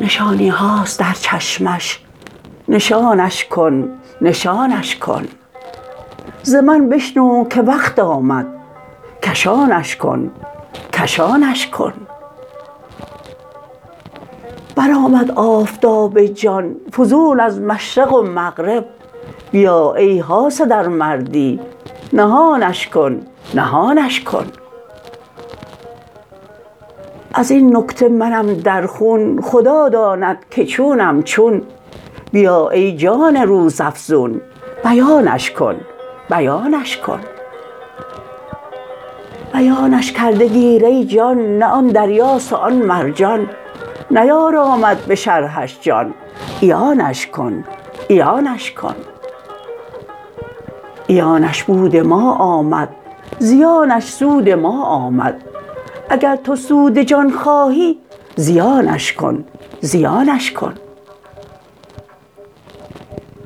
نشانی هاست در چشمش نشانش کن نشانش کن ز من بشنو که وقت آمد کشانش کن کشانش کن برآمد آفتاب جان فزون از مشرق و مغرب بیا ای حاسد ار مردی نهانش کن نهانش کن از این نکته منم در خون خدا داند که چونم چون بیا ای جان روزافزون بیانش کن بیانش کن بیانش کرده گیر ای جان نه آن دریاست وان مرجان نیارامد به شرحش جان عیانش کن عیانش کن عیانش بود ما آمد زیانش سود ما آمد اگر تو سود جان خواهی زیانش کن زیانش کن